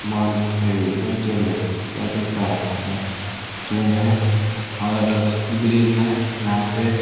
माल कौन ट्रेन है इसको क्या बोलता है इसका नाम ट्रेन है और ब्रिज है यहाँ पे।